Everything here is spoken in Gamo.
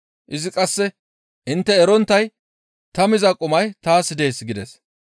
Izi qasse, «Intte eronttay ta miza qumay taas dees» gides.